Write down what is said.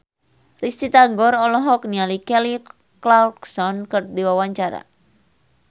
Risty Tagor olohok ningali Kelly Clarkson keur diwawancara